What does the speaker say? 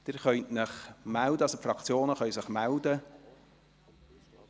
Die Fraktionen können sich melden.